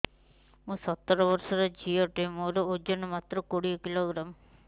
ମୁଁ ସତର ବର୍ଷ ଝିଅ ଟେ ମୋର ଓଜନ ମାତ୍ର କୋଡ଼ିଏ କିଲୋଗ୍ରାମ